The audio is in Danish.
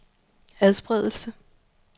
adspredelse